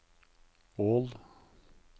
Ål